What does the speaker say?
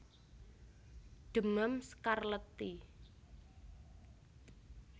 Demam skarlet i